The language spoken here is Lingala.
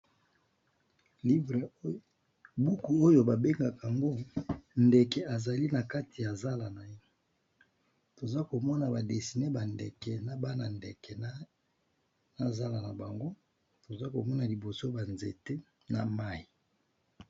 Buku oyo babengaka yango ndeke ezali na kati ya zala na ye toza komona badesine bandeke na bana ndeke na zala na bango toza komona liboso banzete na mayi.